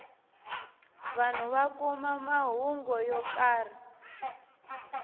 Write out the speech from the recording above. vanhu va kuma mahungu yo karhi